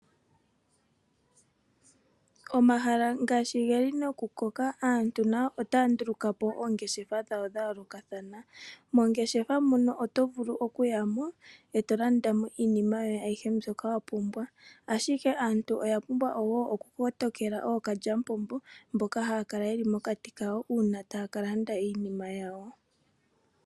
Omahala ngaashi ge li nokukoka aantu nayo otaya nduluka po oongeshefa dha yoolokathana. Moongeshefa muno oto vulu okuya mo e to landa mo iinima yoye ayihe mbyoka wa pumbwa. Aantu oya pumbwa wo okukotokela ookalyamupombo mboka haya kala ye li mokati kawo uuna taya ka landa iinima yawo.